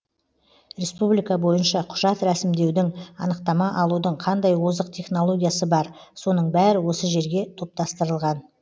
республика бойынша құжат рәсімдеудің анықтама алудың қандай озық технологиясы бар соның бәрі осы жерге топтастырылған